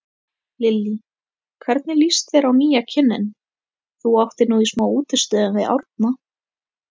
Lillý: Hvernig lýst þér á nýja kynninn, þú áttir nú í smá útistöðum við Árna?